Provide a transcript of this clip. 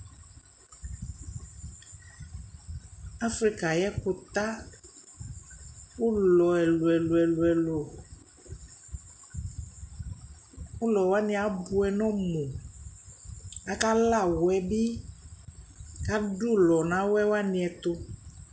Afrika ayʋ ɛkʋta ʋlɔ ɛlʋ-ɛlʋ ɛlʋ-ɛlʋ Ʋlɔ wanɩ abʋɛ nʋ ɔmʋ Akala awɛ bɩ kʋ adʋ ɔlʋ nʋ awɛ wanɩ ɛtʋ